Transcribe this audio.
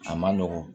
A ma nɔgɔn